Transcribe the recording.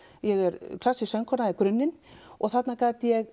ég er klassísk söngkona í grunninn og þarna gat ég